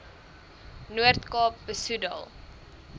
noord kaap besoedel